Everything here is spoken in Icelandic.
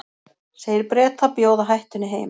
Segir Breta bjóða hættunni heim